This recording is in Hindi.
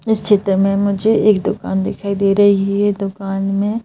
इस चित्र में मुझे एक दुकान दिखाई दे रही है दुकान में--